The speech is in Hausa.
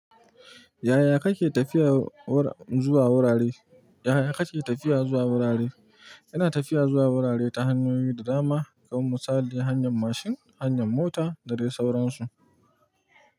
Yaya kake tafiya wur zuwa wurare? Yaya kake tafiya zuwa wurare? Ina tafiya zuwa wurare ta hanyoyi da dama, kamar misali hanyar mashin, hanyar mota da dai sauransu.